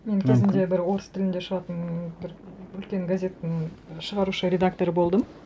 мен кезінде бір орыс тілінде шығатын ммм бір үлкен газеттің шығарушы редакторы болдым